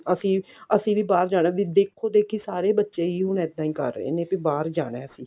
ਅਸੀਂ ਵੀ ਅਸੀਂ ਵੀ ਬਾਹਰ ਜਾਣਾ ਵੀ ਦੇਖੋ ਦੇਖੀ ਸਾਰੇ ਬੱਚੇ ਹੁਣ ਇੱਦਾਂ ਹੀ ਕਰ ਰਹੇ ਨੇ ਵੀ ਬਾਹਰ ਜਾਣਾ